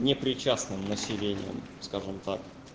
не причастным населением скажем так